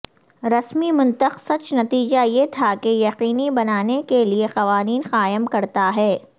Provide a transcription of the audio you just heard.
رسمی منطق سچ نتیجہ یہ تھا کہ یقینی بنانے کے لئے قوانین قائم کرتا ہے